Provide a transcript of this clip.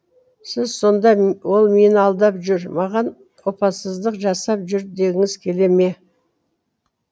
сіз сонда ол мені алдап жүр маған опасыздық жасап жүр дегіңіз келе ме